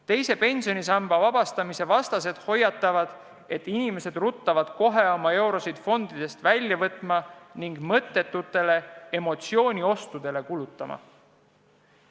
Teise pensionisamba nn vabastamise vastased hoiatavad, et inimesed ruttavad kohe oma eurosid fondidest välja võtma ning mõttetutele emotsiooniostudele kulutama.